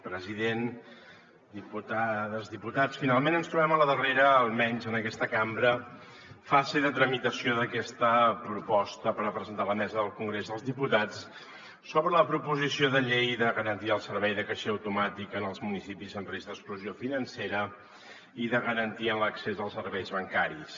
president diputades diputats finalment ens trobem a la darrera almenys en aquesta cambra fase de tramitació d’aquesta proposta per a presentar a la mesa del congrés dels diputats sobre la proposició de llei de garantia del servei de caixer automàtic en els municipis en risc d’exclusió financera i de garantia en l’accés als serveis bancaris